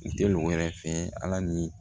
Teli mɔgɔ wɛrɛ fɛ ala ni